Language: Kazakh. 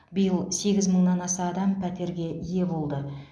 биыл сегіз мыңнан аса адам пәтерге ие болды